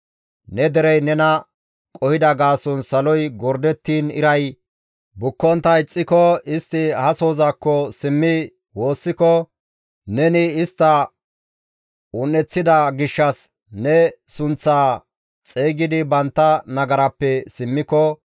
«Ne derey nena qohida gaason saloy gordettiin iray bukkontta ixxiko, istti ha sohozakko simmi woossiko, neni istta un7eththida gishshas ne sunththaa xeygidi bantta nagarappe simmiko,